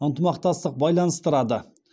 ынтымақтастық байланыстырады